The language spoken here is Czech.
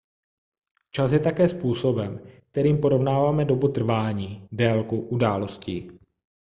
čas je také způsobem kterým porovnáváme dobu trvání délku událostí